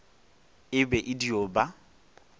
e be e dio ba